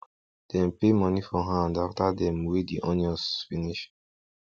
dem pay money for hand after dem weigh the onions finish